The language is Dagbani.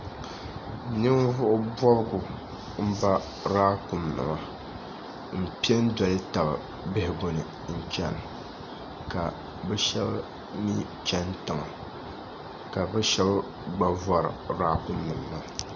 ninvuɣibobigu m-ba laakumnima m-pe n doli taba bihigu ni n chana ka bɛ shaba mi chani tiŋa ka bɛ shaba gba vori laakumnima maa